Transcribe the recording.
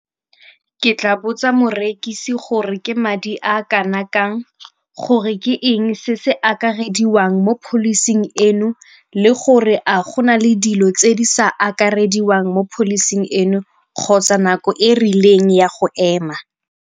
Ke tla botsa morekisi gore ke madi a kana kang, gore ke eng se se akarediwang mo policy-ing eno le gore a go na le dilo tse di sa akarediwang mo policy-ing eno kgotsa nako e rileng ya go ema.